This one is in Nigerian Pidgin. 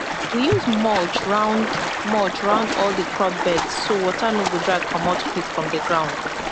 we use mulch round mulch round all the crop beds so water no go dry comot quick from the ground